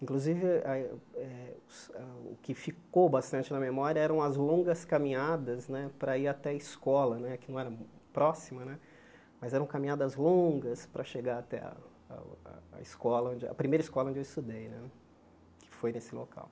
Inclusive, a é a o que ficou bastante na memória eram as longas caminhadas né para ir até a escola né, que não era próxima né, mas eram caminhadas longas para chegar até a escola, a primeira escola onde eu estudei né, que foi nesse local.